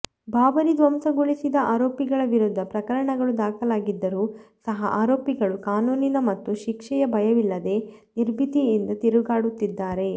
ಬಾಬರಿ ಧ್ವಂಸಗೊಳಿಸಿದ ಆರೋಪಿಗಳ ವಿರುದ್ಧ ಪ್ರಕರಣಗಳು ದಾಖಲಾಗಿದ್ದರೂ ಸಹ ಆರೋಪಿಗಳು ಕಾನೂನಿನ ಮತ್ತು ಶಿಕ್ಷೆಯ ಭಯವಿಲ್ಲದೆ ನಿರ್ಭೀತಿಯಿಂದ ತಿರುಗಾಡುತ್ತಿದ್ದಾರೆ